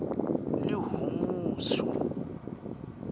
lihumusho